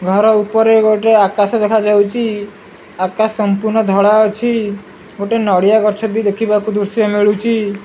ଘର ଉପରେ ଗୋଟେ ଆକାଶ ଦେଖାଯାଉଚି ଆକାଶ ସମ୍ପୂର୍ଣ୍ଣ ଧଳା ଅଛି ଗୋଟିଏ ନଡିଆ ଗଛ ଟି ଦେଖିବାକୁ ଦୃଶ୍ୟ ହେଳୁଚି ।